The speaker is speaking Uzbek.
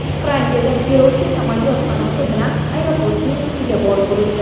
Fransiyada yo‘lovchi samolyot qanoti bilan aeroport binosiga borib urildi .